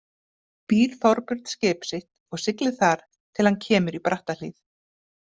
Býr Þorbjörn skip sitt og siglir þar til hann kemur í Brattahlíð.